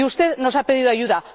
Usted nos ha pedido ayuda.